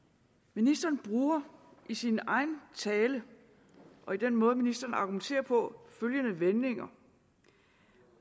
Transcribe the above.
ministeren bruger i sin egen tale og i den måde ministeren argumenterer på følgende vendinger